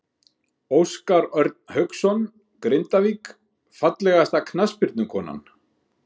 Óskar Örn Hauksson, Grindavík Fallegasta knattspyrnukonan?